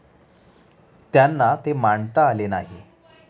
त्यांना ते मांडता आले नाही.